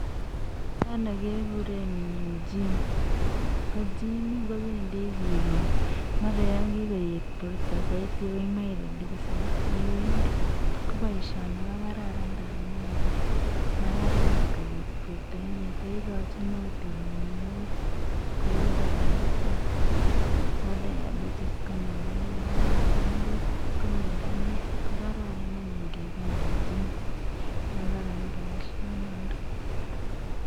yono kegure gym ko gym kebendi ykaet borta saidi ak kebendi ipiriduseni amu bori koibu miondo neyaa kou diabetes ako diatebetes ya nganamin ko miondo ne yaa, ko kararan kebendi gym amu kararan boishio noto